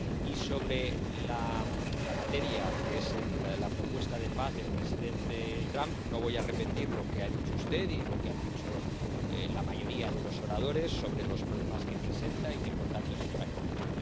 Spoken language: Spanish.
Y sobre la materia, que es la propuesta de paz del presidente Trump, no voy a repetir lo que ha dicho usted y lo que ha dicho la mayoría de los oradores sobre los problemas que presenta y que, por tanto, es impracticable.